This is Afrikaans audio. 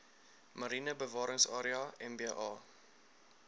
mariene bewaringsarea mba